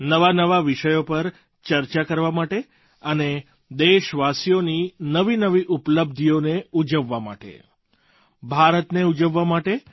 નવાનવા વિષયો પર ચર્ચા કરવા માટે અને દેશવાસીઓની નવીનવી ઉપલબ્ધિઓને ઉજવવા માટે ભારતને ઉજવવા માટે